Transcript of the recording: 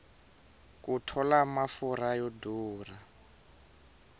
ku tola mafurha yo durha